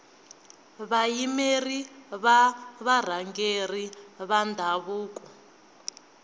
vayimeri va varhangeri va ndhavuko